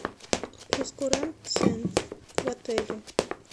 прейскурант цен в отеле